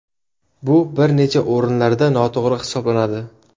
Bu bir necha o‘rinlarda noto‘g‘ri hisoblanadi.